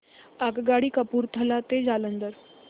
आगगाडी कपूरथला ते जालंधर